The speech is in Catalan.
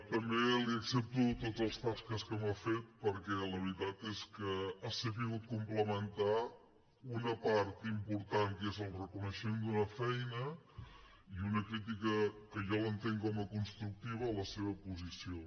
també li accepto tots els zascas que m’ha fet perquè la veritat és que ha sabut complementar una part important que és el reconeixement d’una feina i una crítica que jo l’entenc com a constructiva a la seva posició